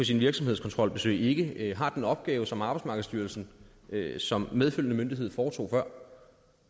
sine virksomhedskontrolbesøg ikke har den opgave som arbejdsmarkedsstyrelsen som medfølgende myndighed foretog før